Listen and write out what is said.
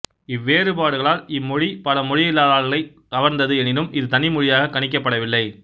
இவ்வேறுபாடுகளால் இம்மொழி பல மொழியியலாளர்களைக் கவர்ந்தது எனினும் இது தனி மொழியாகக் கணிக்கப்படவில்லை